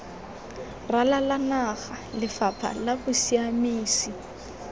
ralala naga lefapha la bosiamisi